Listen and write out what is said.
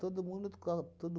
Todo mundo igual. Todo